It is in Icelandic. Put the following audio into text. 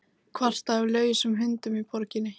Kvartað yfir lausum hundum í borginni